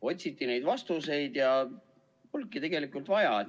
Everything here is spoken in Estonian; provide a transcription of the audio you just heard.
Otsiti neid vastuseid, aga polnudki tegelikult vaja.